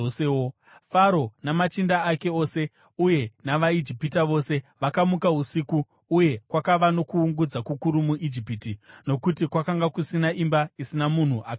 Faro namachinda ake ose uye navaIjipita vose vakamuka usiku, uye kwakava nokuungudza kukuru muIjipiti, nokuti kwakanga kusina imba isina munhu akanga afa.